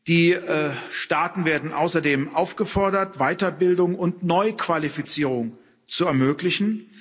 Die Staaten werden außerdem aufgefordert, Weiterbildung und Neuqualifizierung zu ermöglichen.